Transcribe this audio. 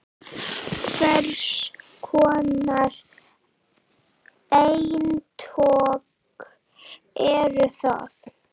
Hvers konar eintök eru það?